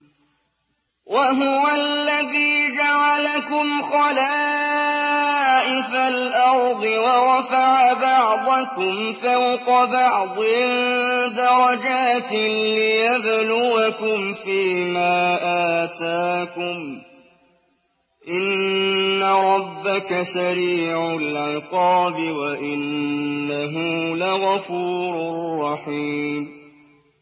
وَهُوَ الَّذِي جَعَلَكُمْ خَلَائِفَ الْأَرْضِ وَرَفَعَ بَعْضَكُمْ فَوْقَ بَعْضٍ دَرَجَاتٍ لِّيَبْلُوَكُمْ فِي مَا آتَاكُمْ ۗ إِنَّ رَبَّكَ سَرِيعُ الْعِقَابِ وَإِنَّهُ لَغَفُورٌ رَّحِيمٌ